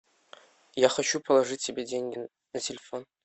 я хочу положить себе деньги на телефон